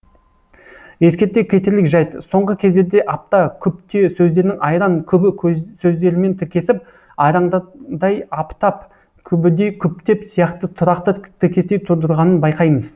ескерте кетерлік жайт соңғы кездерде апта күпте сөздерінің айран күбі сөздерімен тіркесіп айрандатдай аптап күбідей күптеп сияқты тұрақты тіркестер тудырғанын байқаймыз